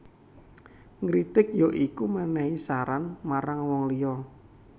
Ngritik ya iku menehi saran marang wong liya